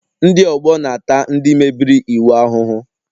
Ndị ọgbọ na-ata ndị mebiri iwu ahụhụ